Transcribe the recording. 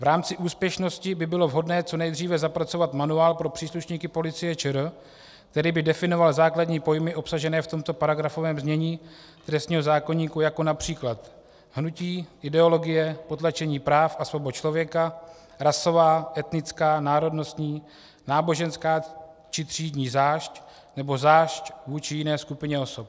V rámci úspěšnosti by bylo vhodné co nejdříve zapracovat manuál pro příslušníky Policie ČR, který by definoval základní pojmy obsažené v tomto paragrafovém znění trestního zákoníku, jako například hnutí, ideologie, potlačení práv a svobod člověka, rasová, etnická, národnostní, náboženská či třídní zášť nebo zášť vůči jiné skupině osob.